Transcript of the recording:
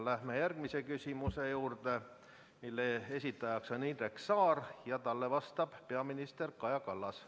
Läheme järgmise küsimuse juurde, mille esitaja on Indrek Saar ja talle vastab peaminister Kaja Kallas.